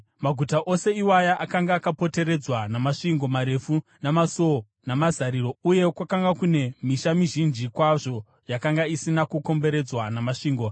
Maguta ose iwaya akanga akapoteredzwa namasvingo marefu namasuo namazariro, uye kwakanga kunewo misha mizhinji kwazvo yakanga isina kukomberedzwa namasvingo.